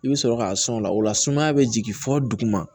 I bɛ sɔrɔ k'a sɔn o la o la sumaya bɛ jigin fɔ duguma